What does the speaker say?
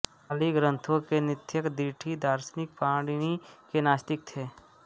पाली ग्रन्थों के नत्थिक दिठि दार्शनिक पाणिनि के नास्तिक थे